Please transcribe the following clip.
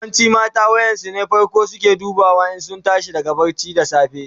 Yawancin mata wayan su ne fako suke duba in sun tashi daga barci da safe.